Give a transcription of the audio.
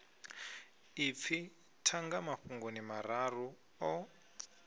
ipfi thanga mafhungoni mararu o